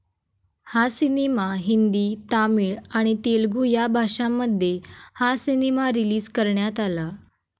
हा सिनेमा हिंदी, तामिळ आणि तेलुगु या भाषांमध्ये हा सिनेमा रिलीज करण्यात आला.